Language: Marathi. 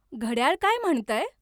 घड्याळ काय म्हणतंय?